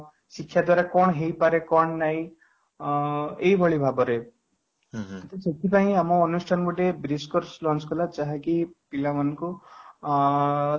ଶିକ୍ଷା ଦ୍ୱାରା କଣ ହେଇପାରେ କଣ ନାଇଁ ଅଂ ଏହି ଭଳି ଭାବରେ ତ ସେଥିପାଇଁ ଆମ ଅନୁଷ୍ଠାନ କୁ ଟିକେ BLIS course lunch କଲା ଯାହାକି ପିଲା ମାନଙ୍କୁ ଅଂ